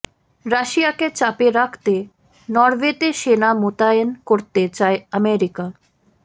রাশিয়াকে চাপে রাখতে নরওয়েতে সেনা মোতায়েন করতে চায় আমেরিকা